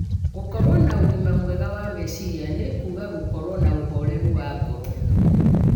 Gũkorũo na ũgima mwega wa meciria nĩ kuuga gũkorũo na ũhoreru wa ngoro